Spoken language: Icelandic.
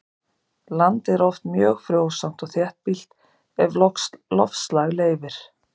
Landið er oft mjög frjósamt og þéttbýlt ef loftslag leyfir.